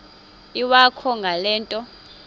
iwakho ngale nto